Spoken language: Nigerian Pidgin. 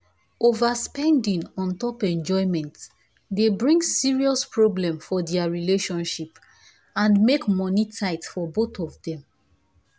overspending un top enjoyment dey bring serious problem for their relationship and make money tight for both of them.